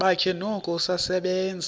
bakhe noko usasebenza